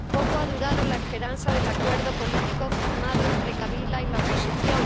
Poco ha durado la esperanza del acuerdo político firmado entre Kabila y la oposición.